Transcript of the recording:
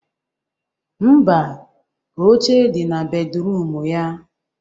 Mba, oche dị na bedruum ya